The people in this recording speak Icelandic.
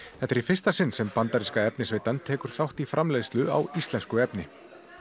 þetta er í fyrsta sinn sem bandaríska efnisveitan tekur þátt í framleiðslu á íslensku efni